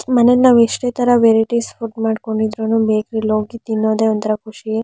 ಮನೆಗೆ ನಾವು ಎಷ್ಟೇ ತರ ವೆರೈಟೀಸ್ ಫುಡ್ ಮಾಡ್ಕೊಂಡು ಇದ್ದುರುನು ಬೇಕರಿಲಿ ಹೋಗಿ ತಿನ್ನೋದೆನೆ ಒಂದು ತರ ಖುಷಿ.